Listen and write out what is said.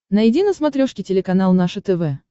найди на смотрешке телеканал наше тв